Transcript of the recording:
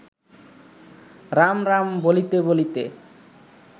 রাম রাম বলিতে বলিতে